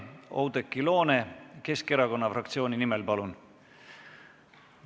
Oudekki Loone Keskerakonna fraktsiooni nimel, palun!